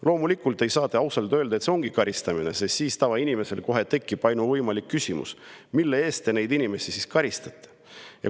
Loomulikult ei saa te ausalt öelda, et see ongi karistamine, sest siis tekib tavainimesel kohe ainuvõimalik küsimus: mille eest te neid inimesi siis karistate?